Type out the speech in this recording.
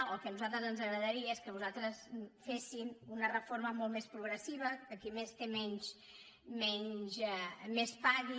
o el que a nosaltres ens agradaria és que vostès fessin una reforma molt més progressiva que qui més té més pagui